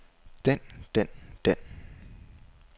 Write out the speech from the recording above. den den den